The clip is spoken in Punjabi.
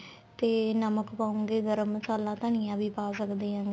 ਤੇ ਨਮਕ ਪਾਉਗੇ ਫੇਰ ਮਸਾਲਾ ਤਾਂ ਨੀ ਐਵੇ ਪਾ ਸਕਦੇ ਆ